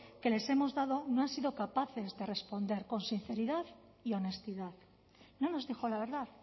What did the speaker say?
que les hemos dado no han sido capaces de responder con sinceridad y honestidad no nos dijo la verdad